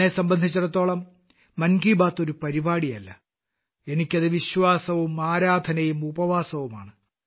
എന്നെ സംബന്ധിച്ചിടത്തോളം മൻ കി ബാത്ത് ഒരു പരിപാടിയല്ല എനിക്കത് വിശ്വാസവും ആരാധനയും ഉപവാസവുമാണ്